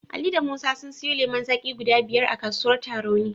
Ali da Musa sun siyo lemon zaki guda biyar a kasuwar Tarauni.